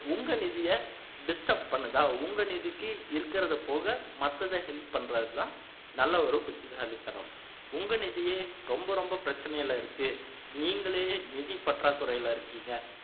உங்க நிதியை disturb பண்ணுதா உங்க நிதிக்கு இருக்குறதை போக மத்ததை help பண்றதுதான் நல்ல ஒரு புத்திசாலித்தனம் உங்க நிதியே ரொம்ப ரொம்ப பிரச்சினையில இருக்கு நீங்களே நிதி பற்றாக்குறையில இருக்கீங்க